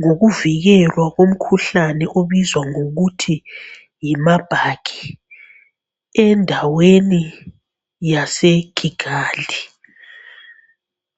ngokuvikelwa komkhuhlane obizwa ngokuthi yi marburg endaweni yase Kigali